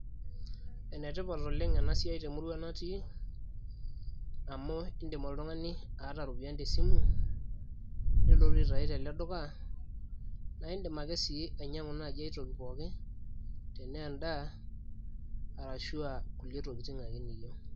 enetipat oleng' enasiai temurua natii amu idim oltung'ani aata iropiyiani tesimu nilotu aitau tele duka, naa idim ake sii anyang'u aitoki pooki , tenaa edaa arushu aa kulie tokitin ake.